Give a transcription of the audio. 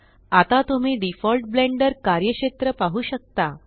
आता तुम्ही default Blender कार्यक्षेत्र पाहु शकता